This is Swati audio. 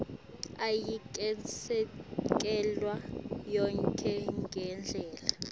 ayikesekelwa yonkhe ngendlela